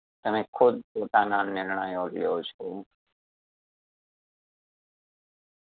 અને ખુદ પોતાના નિર્ણયો લ્યો છો.